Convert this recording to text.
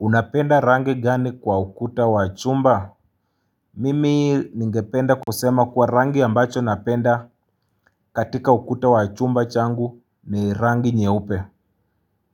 Unapenda rangi gani kwa ukuta wa chumba? Mimi ningependa kusema kuwa rangi ambacho napenda katika ukuta wachumba changu ni rangi nyeupe.